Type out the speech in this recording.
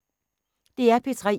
DR P3